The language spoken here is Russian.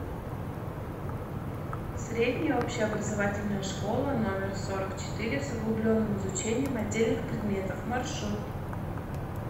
средняя общеобразовательная школа номер сорок четыре с углубленным изучением отдельных предметов маршрут